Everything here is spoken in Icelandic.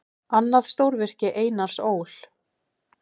Annað stórvirki Einars Ól.